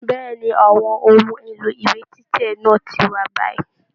Bẹ̀ẹ́ni, àwọn ohùn èlò ìwé títẹ̀ náà ti wà báyìí.